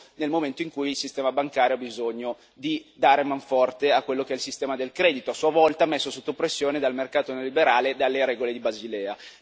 nel momento in cui il sistema bancario ha bisogno di dare man forte a quello che è il sistema del credito, a sua volta messo sotto pressione dal mercato neoliberale e dalle regole di Basilea.